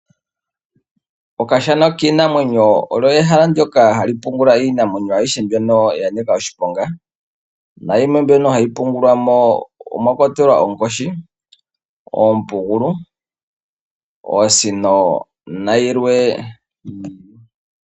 Okashana kiinamwenyo olyo ehala ndyoka hali pungulwa iinamwenyo ayihe mbyono ya nika oshiponga. Nayimwe mbyono hayi pungulwa mo omwa kwatelwa onkoshi, oompugulu, oosino nayilwe.